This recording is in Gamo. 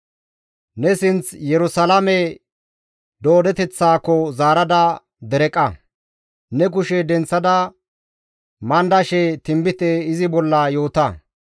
Ne sinth Yerusalaame doodeteththaako zaarada dereqa; ne kushe denththada mandashe tinbite izi bolla yoota.